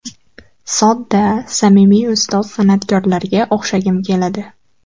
Sodda, samimiy ustoz san’atkorlarga o‘xshagim keladi.